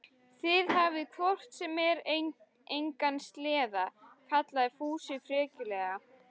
Þið hafið hvort sem er engan sleða, kallaði Fúsi frekjulega.